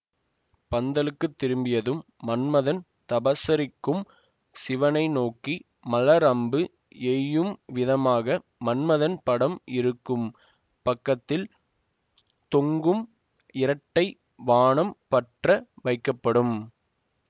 பந்தலுக்கு திரும்பியதும் மன்மதன் தபசரிக்கும் சிவனை நோக்கி மலர் அம்பு எய்யும் விதமாக மன்மதன் படம் இருக்கும் பக்கத்தில் தொங்கும் இரட்டை வாணம் பற்ற வைக்கப்படும்